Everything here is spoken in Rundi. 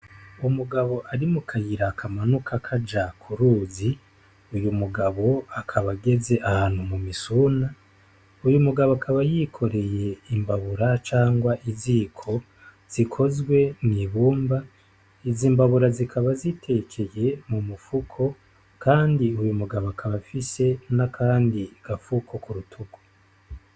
Umugabo ari mu kayira akamanuka kaja kuruzi uyu mugabo akabageze ahantu mu misuna uyu mugabo akaba yikoreye imbabura cangwa iziko zikozwe mw'ibumba izimbabura zikaba zitekeye mu mupfuko, kandi uyu mugabo kabafise n'akandi gapfuko ku rutuku.